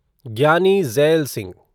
Giani Zail Singh